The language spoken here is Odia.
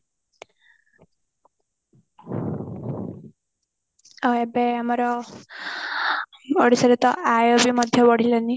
ଏବେ ଆମର ଓଡିଶାରେ ତ ଆୟ ବି ମଧ୍ୟ ବଢିଲାଣି